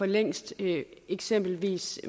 længst eksempelvis